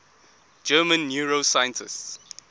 german neuroscientists